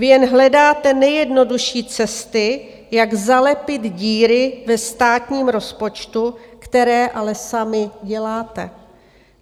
Vy jen hledáte nejjednodušší cesty, jak zalepit díry ve státním rozpočtu, které ale sami děláte.